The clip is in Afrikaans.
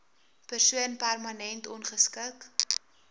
persoon permanent ongeskik